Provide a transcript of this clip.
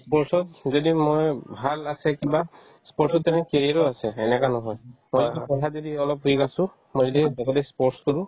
ই sports ক যদি মই ভাল আছে কিবা sports ত তেনেকে cricket ও আছে সেনেকে নহয় ল'ৰাটো পঢ়াত যদি অলপ ঠিক আছো মই যদি এইফালে sports তো